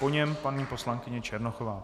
Po něm paní poslankyně Černochová.